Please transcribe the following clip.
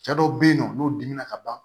Cɛ dɔw be yen nɔ n'u dimina ka ban